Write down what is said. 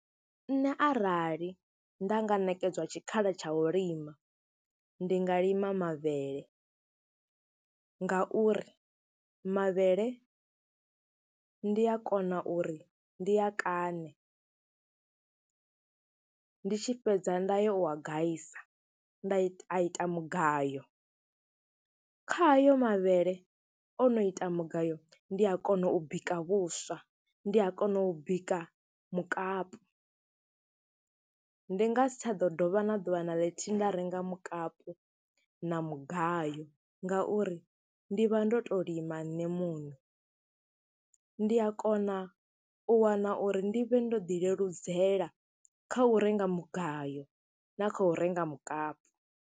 Nṋe arali nda nga ṋekedzwa tshikhala tsha u lima, ndi nga lima mavhele ngauri mavhele ndi a kona uri ndi a kaṋe, ndi tshi fhedza nda yo u a gayisa nda i ita, a ita mugayo. Kha hayo mavhele o no ita mugayo ndi a kona u bika vhuswa, ndi a kona u bika mukapu. Ndi nga si tsha ḓo dovha na ḓuvha na ḽithihi nda renga mukapu na mugayo ngauri ndi vha ndo tou lima nṋe muṋe. Ndi a kona u wana uri ndi vhe ndo ḓileludzela kha u renga mugayo na kha u renga mukapu.